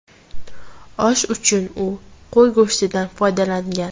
Osh uchun u qo‘y go‘shtidan foydalangan.